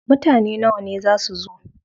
Mutane nawa ne za su zo?